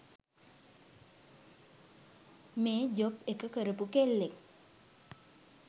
මේ ජොබ් එක කරපු කෙල්ලෙක්